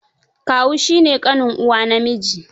Kawu shi ne ƙanin uwa namiji.